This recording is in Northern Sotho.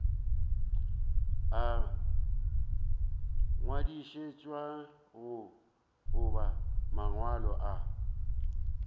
a ngwadišitšwego goba mangwalo a